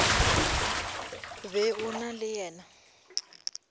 be o na le yena